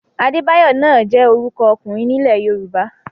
Adébáyọ náà jẹ́ orúkọ ọkùnrin nílẹ̀ Yorùbá.